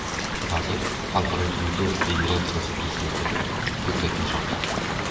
Vazir Xalqaro dzyudo federatsiyasi prezidentiga ko‘krak nishon taqdi.